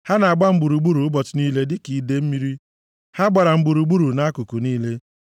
Ha na-agba m gburugburu ụbọchị niile dịka idee mmiri; ha gbara m gburugburu nʼakụkụ niile.